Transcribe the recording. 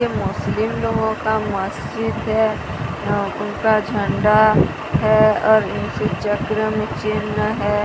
मुस्लिम लोगों का मस्जिद है अ उनका झंडा है और इस चक्र में चिन्ह है।